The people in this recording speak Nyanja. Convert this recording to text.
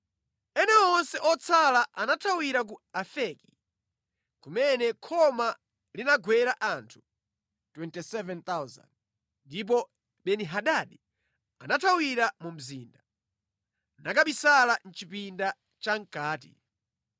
Ena onse otsala anathawira ku Afeki, kumene khoma linagwera anthu 27,000. Ndipo Beni-Hadadi anathawira mu mzinda, nakabisala mʼchipinda chamʼkati.